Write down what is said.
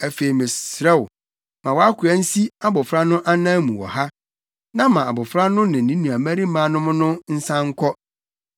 “Afei, mesrɛ wo, ma wʼakoa nsi abofra no anan mu wɔ ha, na ma abofra no ne ne nuabarimanom no nsan nkɔ.